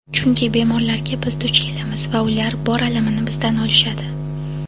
Chunki bemorlarga biz duch kelamiz va ular bor alamini bizdan olishadi!.